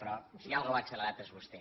però si alguna cosa va accelerada és vostè